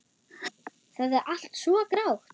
Það er allt svo grátt.